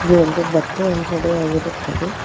ಇದು ಒಂದು ಬಟ್ಟೆ ಅಂಗಡಿ ಆಗಿರುತ್ತದೆ.